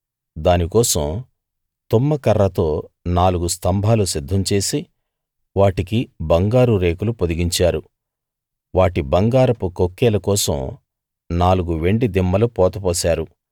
దాని కోసం తుమ్మకర్రతో నాలుగు స్తంభాలు సిద్ధం చేసి వాటికి బంగారు రేకులు పొదిగించారు వాటి బంగారపు కొక్కేల కోసం నాలుగు వెండి దిమ్మలు పోతపోశారు